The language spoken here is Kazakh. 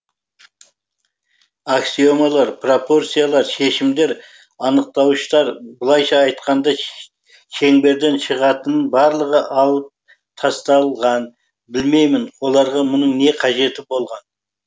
аксиомалар пропорциялар шешімдер анықтауыштар былайша айтқанда шеңберден шығатынның барлығы алып тасталған білмеймін оларға мұның не қажеті болған